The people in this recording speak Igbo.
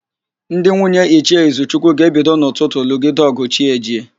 Ndị nwunye Ichie Izuchukwu ga-ebido n'ụtụtụ lụgide ọ̀gụ̀ chi ejie.